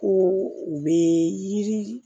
Ko u bɛ yiri